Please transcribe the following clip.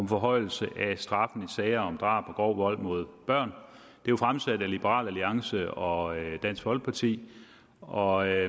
forhøjelse af straffen i sager om drab og grov vold mod børn det er fremsat af liberal alliance og dansk folkeparti og jeg